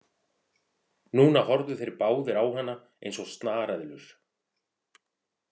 Núna horfðu þeir báðir á hana eins og snareðlur.